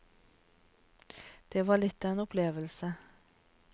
Det var litt av en opplevelse.